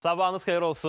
Sabahınız xeyir olsun.